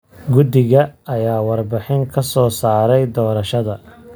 Guddiga ayaa warbixin ka soo saaray doorashada.